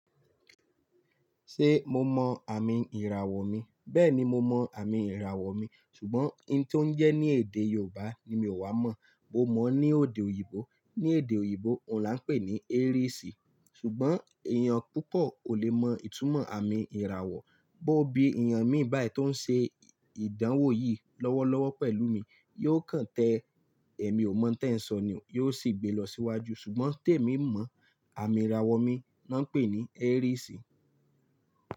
Ṣé mo mọ àmì ìràwọ̀ mi? Bẹ́ẹ̀ni mo mọ àmì ìràwọ̀ mi, ṣùgbọ́n ohun tó ń jẹ́ ní èdè Yorùbá ni mi ò wá mọ̀, bó mọ̀ ọ́ ní èdè òyìnbó. Ní èdè òyìnbó, òhun là ń pè ní Aries. Ṣùgbọ́n èèyàn púpọ̀ kò le mọ ìtumọ̀ àmì ìràwọ̀, bó bí èèyàn mi báyì tó ń ṣe ìdánwò yìí lọ́wọ́lọ́wọ́ pẹ̀lú mi, yóò kàn tẹ́ ẹ. Èmi ò mọ̀ tí ẹ ń sọ ni o, yóò sì gbé lọ síwájú. Ṣùgbọ́n tèmi mọ àmì ìràwọ̀ mi, ná pè ní Aries.